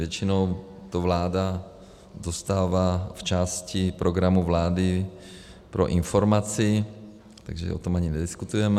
Většinou to vláda dostává v části programu vlády pro informaci, takže o tom ani nediskutujeme.